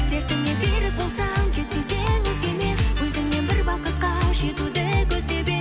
сертіңе берік болсаң кетпес едің өзгемен өзіңмен бір бақытқа жетуді көздеп едім